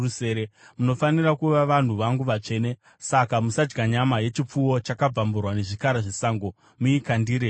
“Munofanira kuva vanhu vangu vatsvene. Saka musadya nyama yechipfuwo chakabvamburwa nezvikara zvesango, muikandire kumbwa.